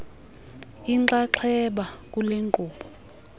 inxaxheba kule nkqubo